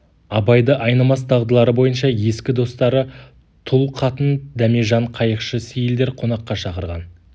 абайды айнымас дағдылары бойынша ескі достары тұл қатын дәмежан қайықшы сейілдер қонаққа шақырған